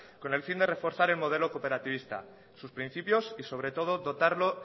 con el fin de reforzar el modelo cooperativista sus principios y sobre todo dotarlo